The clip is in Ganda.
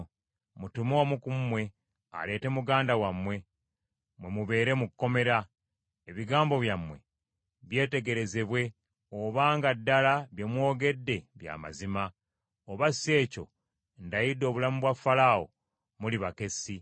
Mutume omu ku mmwe, aleete muganda wammwe, mwe mubeere mu kkomera, ebigambo byammwe byetegerezebwe obanga ddala bye mwogedde bya mazima. Oba si ekyo ndayidde obulamu bwa Falaawo, muli bakessi.”